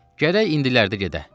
Gərək indilərdə gedək.